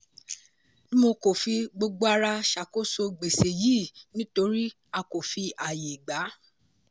dmo kò fi gbogbo ara ṣàkóso gbèsè yìí nítorí a kò fi ààyè gba.